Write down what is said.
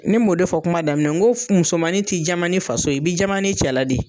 Ne m'o de fɔ kuma daminɛ nan n ko musomanin tɛ jama n'a faso ye, i bɛ jama na cɛ la de ye!